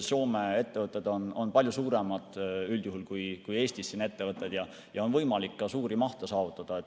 Soome ettevõtted on üldjuhul palju suuremad kui Eesti ettevõtted ja on võimalik ka suuri mahte saavutada.